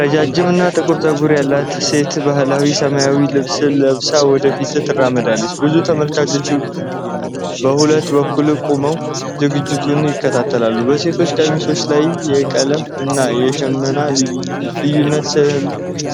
ረጃጅም እና ጥቁር ጸጉር ያላት ሴት ባህላዊ ሰማያዊ ልብስ ለብሳ ወደ ፊት ትራመዳለች። ብዙ ተመልካቾች በሁለቱም በኩል ቆመው ዝግጅቱን ይከታተላሉ። በሴቶቹ ቀሚሶች ላይ የቀለም እና የሽመና ልዩነት